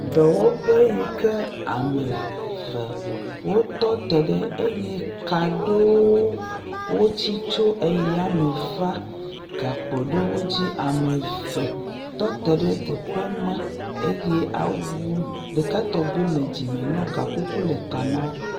Dɔwɔƒe yi ke ame eve wotɔ te ɖe eye ka aɖewo tsi tso yame va gakpo ɖewo dzi. Ame eve tɔ te ɖe teƒe ma eye awu ɖekatɔgbui le dzime nawo ga kuku le ta na wo.